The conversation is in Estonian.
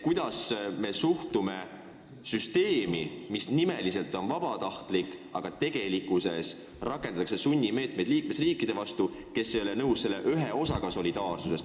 Kuidas me suhtume süsteemi, mis nimeliselt on vabatahtlik, aga tegelikkuses rakendatakse sunnimeetmeid liikmesriikide vastu, kes ei ole nõus selle ühe osaga solidaarsusest?